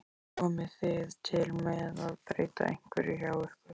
Komið þið til með að breyta einhverju hjá ykkur?